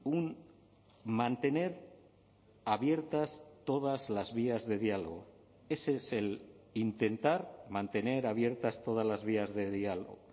un mantener abiertas todas las vías de diálogo ese es el intentar mantener abiertas todas las vías de diálogo